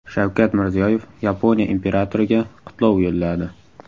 Shavkat Mirziyoyev Yaponiya imperatoriga qutlov yo‘lladi.